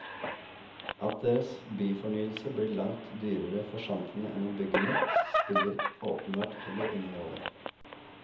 At deres byfornyelse blir langt dyrere for samfunnet enn å bygge nytt, spiller åpenbart heller ingen rolle.